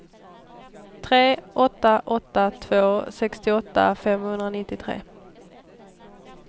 tre åtta åtta två sextioåtta femhundranittiotre